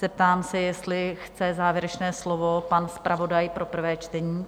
Zeptám se, jestli chce závěrečné slovo pan zpravodaj pro prvé čtení?